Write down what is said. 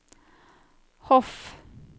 Hof